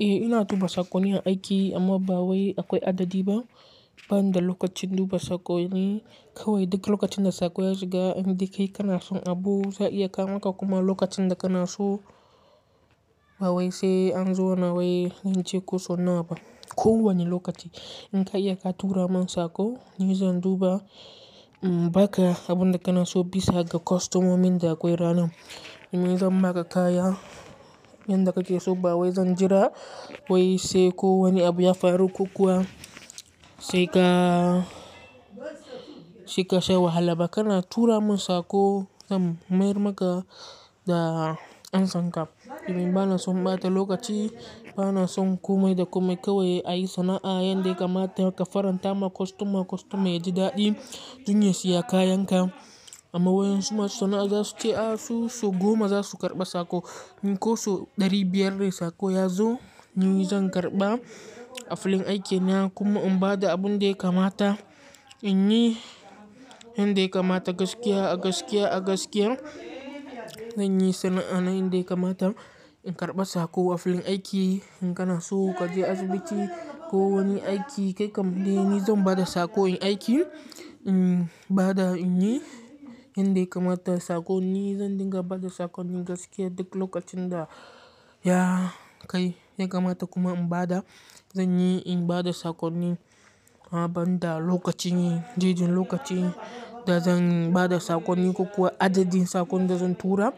Eh ina duba sakonni aiki amma ba wai akwai adadi ba, ban da lokacin duba sakonni. Kawai duk lokacin da sako ya shiga inda kai kanason abu za a iya kawo maka kuma lokacin da kanaso ba wai sai an zo na wai yanci ko so nawa ba. Ko wani lokaci in ka iya ka tura min sako ni zan duba, in baka abun da kanaso bisa ga kwastomomin da akwai ranan. Ine zan ma ka kaya, yanda kake so ba wai zan jira wai sai ko wani abu ya faru ko kuwa sai ka, shi ka sha wahala. Baka na tura min sako zan mayar maka da ansan ka. Ni bana son ɓata lokaci, bana son komai da komai kawai a yi sana'a yanda kamata ka faranta ma kwastoma kwastoma yaji daɗi dun ya siya kayan ka. Amma waƴansu masu sana'a za su ce a su sau goma za su karɓa sako in ko sau ɗari biyar dai sako ya zo ni zan karɓa a filin aikin ya. Kuma in bada abun daya kamata in yi yanda kamata gaskiya a gaskiya a gaskiya. Zanyi sana'a na yanda kamata in karɓa sako a filin aiki in kanaso ka je asibiti ko wani aiki kai kam dai ni zan bada sako in aiki. In bada in yi yanda kamata sakonni zan dinga bada sakonni gaskiya duk lokacin da ya kai ya kamata kuma in bada zan yi in bada sakonni amma banda lokacin yi, jeji lokaci da zan bada sakonni ko kuwa adadin sakon da zan tura.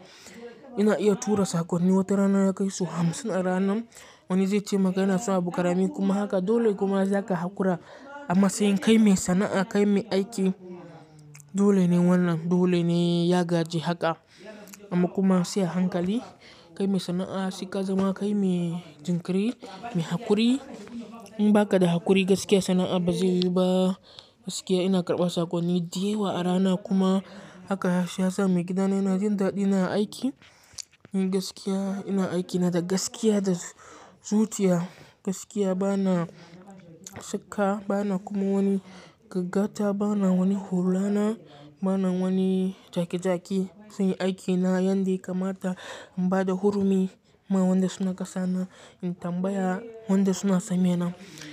Ina iya tura sakonni watarana ya kai sau hamsin a rana. Wani zai ce maka yana so abu karami kuma haka dole kuma za ka haƙura. A matsayin kai mai sana'a kai mai aiki dole ne wannan dole ne ya gaji haka. Amma kuma sai a hankali kai mai sana'a sai ka zama kai mai jinkiri, mai haƙuri. In baka da haƙuri gaskiya sana'a ba zai yiwu ba. Gaskiya ina karɓa sakonni da yawa a rana kuma haka shi ya sa maigidana yana jin daɗi na a aiki. Gaskiya ina aiki na da gaskiya da zuciya. Gaskiya bana saka bana kuma wani gaggata bana wani hulana bana wani jaki jaki. Zanyi aiki na yanda kamata in bada hurumi ma wanda suna kasana in tambaya wanda suna same na.